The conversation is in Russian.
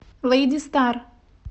лэйди стар